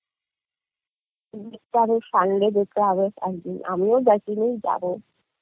আমিও দেখিনি যাবো